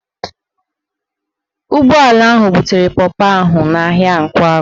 Ụgbọala ahụ butere pọpọ ahụ n'ahịa Nkwagụ